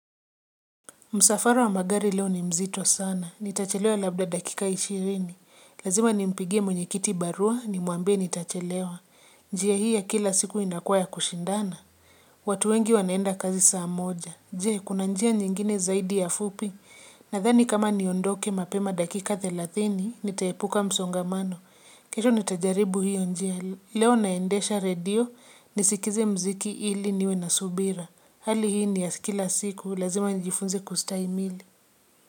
Musafara wa magari leo ni mzito sana. Nitachelewa labda dakika ishirini. Lazima ni mpigie mwenye kiti barua ni muambie nitachelewa. Njia hii ya kila siku inakua ya kushindana. Watu wengi wanaenda kazi saa moja. Je, kuna njia nyingine zaidi ya fupi. Nadhani kama niondoke mapema dakika 30, nitaepuka msongamano. Kesho nitajaribu hiyo njia. Leo naendesha radio, nisikize mziki ili niwe na subira. Hali hii ni ya kila siku lazima nijifunze kustahimili.